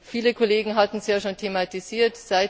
Viele Kollegen hatten es ja schon thematisiert.